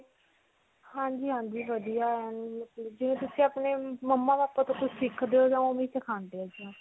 ਹਾਂਜੀ. ਹਾਂਜੀ ਵਧੀਆ ਜਿਵੇਂ ਤੁਸੀਂ ਆਪਣੇ mumma-papa ਤੋਂ ਕੁਝ ਸਿਖਦੇ ਹੋ. ਓਵੇਂ ਹੀ ਸਿਖਾਉਂਦੇ ਹੈ.